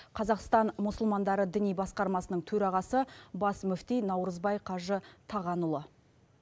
қазақстан мұсылмандары діни басқармасының төрағасы бас мүфти наурызбай қажы тағанұлы